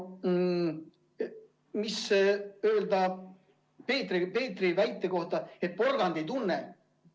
Mida öelda Peetri väite kohta, et porgand ei tunne?